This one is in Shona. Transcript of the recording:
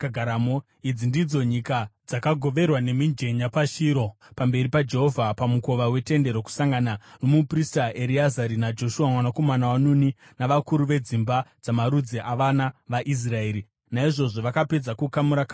Idzi ndidzo nyika dzakagoverwa nemijenya paShiro pamberi paJehovha pamukova weTende Rokusangana, nomuprista Ereazari naJoshua mwanakomana waNuni, navakuru vedzimba dzamarudzi avana vaIsraeri. Naizvozvo vakapedza kukamura-kamura nyika.